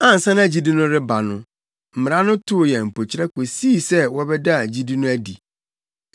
Ansa na gyidi no reba no, Mmara no too yɛn mpokyerɛ kosii sɛ wɔbɛdaa gyidi no adi.